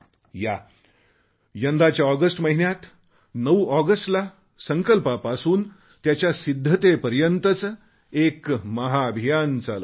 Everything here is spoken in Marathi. या यंदाच्या ऑगस्ट महिन्यात 9 ऑगस्टला संकल्पापासून त्याच्या सिद्धतेपर्यंतचे एक महाअभियान चालवू